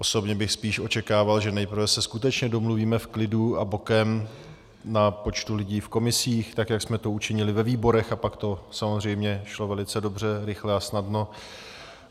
Osobně bych spíš očekával, že nejprve se skutečně domluvíme v klidu a bokem na počtu lidí v komisích, tak jak jsme to učinili ve výborech, a pak to samozřejmě šlo velice dobře, rychle a snadno.